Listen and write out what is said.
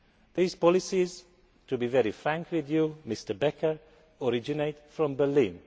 These policies to be very frank with you, Mr Becker originate from